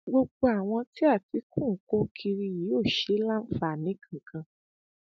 gbogbo àwọn tí àtìkù ń kó kiri yìí ò ṣe é láǹfààní kankan